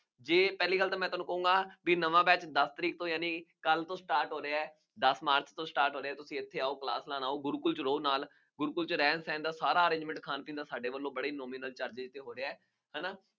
ਜੇ ਪਹਿਲੀ ਗੱਲ ਤਾਂ ਮੈਂ ਤੁਹਾਨੂੰ ਕਹੂੰਗਾ ਬਈ ਨਵਾਂ batch ਦਸ ਤਾਰੀਕ ਤੋਂ ਯਾਨੀ ਕੱਲ੍ਹ ਤੋਂ start ਹੋ ਰਿਹਾ ਹੈ। ਦਸ ਮਾਰਚ ਤੋਂ start ਹੋ ਰਿਹਾ ਹੈ। ਤੁਸੀਂ ਇੱਥੇ ਆਉ, class ਲਾਉਣ ਆਉ, ਗੁਰੂਕੁੱਲ ਵਿੱਚ ਰਹੋ ਨਾਲ, ਗੁਰੂਕੁੱਲ ਵਿੱਚ ਰਹਿਣ ਸਹਿਣ ਦਾ ਸਾਰਾ arrangement ਖਾਣ ਪੀਣ ਦਾ ਸਾਡੇ ਵੱਲੋ ਬੜੇ ਹੀ nominal charges ਤੇ ਹੋ ਰਿਹਾ, ਹੈ ਨਾ,